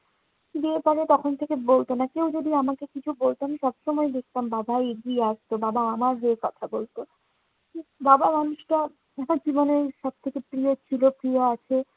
বিয়ের পরে তখন থেকে বলতো না। কেউ যদি আমাকে কিছু বলতো, আমি সবসময় দেখতাম বাবা এগিয়ে আসত, বাবা আমার হয়ে কথা বলতো। বাবা মানুষটা আমার জীবনের সব থেকে প্রিয় ছিল, প্রিয় আছে।